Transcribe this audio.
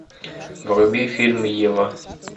вруби фильм ева